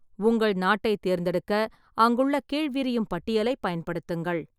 உங்கள் நாட்டைத் தேர்ந்தெடுக்க அங்குள்ள கீழ்விரியும் பட்டியலை பயன்படுத்துங்கள்.